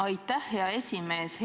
Aitäh, hea esimees!